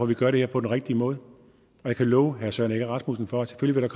vi gør det her på den rigtige måde og jeg kan love herre søren egge rasmussen for at selvfølgelig vil